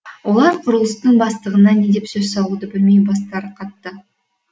олар құрылыстың бастығына не деп сөз салуды білмей бастары қатты